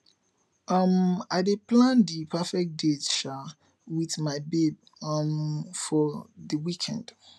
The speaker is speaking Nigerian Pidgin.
um i dey plan di perfect date um wit my babe um for di weekend